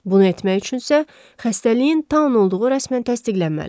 Bunu etmək üçünsə xəstəliyin Taun olduğu rəsmən təsdiqlənməlidir.